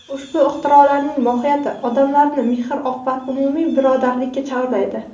Ushbu ixtirolarning mohiyati odamlarni mehr-oqibat, umumiy birodarlikka chorlaydi.